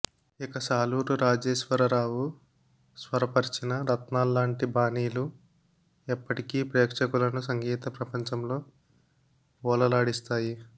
ఇక సాలూరు రాజేశ్వరరావు స్వరపర్చిన రత్నాల్లాంటి బాణీలు ఎప్పటికీ ప్రేక్షకులను సంగీత ప్రపంచంలో ఓలలాడిస్తాయి